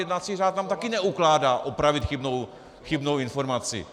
Jednací řád nám taky neukládá opravit chybnou informaci.